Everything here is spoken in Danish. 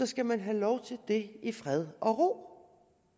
skal man have lov til det i fred og ro